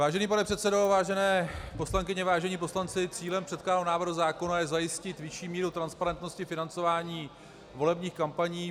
Vážený pane předsedo, vážené poslankyně, vážení poslanci, cílem předkládaného návrhu zákona je zajistit vyšší míru transparentnosti financování volebních kampaní.